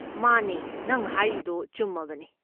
ꯃꯥꯅꯦ, ꯅꯪ ꯍꯥꯏꯔꯤꯗꯣ ꯆꯨꯝꯃꯕꯅꯦ꯫